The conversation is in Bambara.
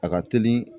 A ka teli